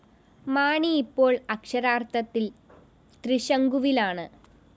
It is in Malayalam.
മാണി ഇപ്പോള്‍ അക്ഷരാര്‍ഥത്തില്‍ ത്രിശങ്കുവിലാണ്‌